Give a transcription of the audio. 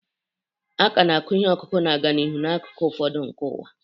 A ka na-akụ ihe ọkụkụ na-aga n'ihu n'akụkụ ụfọdụ nke ụwa.